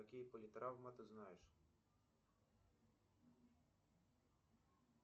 какие политравмы ты знаешь